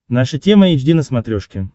наша тема эйч ди на смотрешке